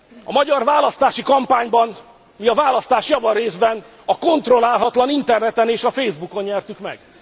A magyar választási kampányban mi a választást javarészben a kontrollálatlan interneten és a facebook on nyertük meg.